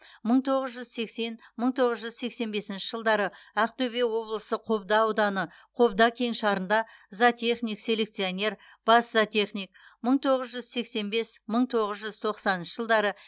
мың тоғыз жүз сексен мың тоғыз жүз сексен бесінші жылдары ақтөбе облысы қобда ауданы қобда кеңшарында зоотехник селекционер бас зоотехник мың тоғыз жүз сексен бес мың тоғыз жүз тоқсаныншы жылдары